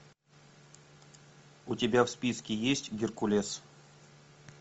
у тебя в списке есть геркулес